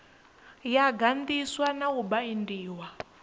yo ganḓiswa na u baindiwa